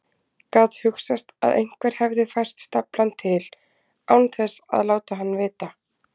Gat hugsast að einhver hefði fært staflann til án þess að láta hann vita?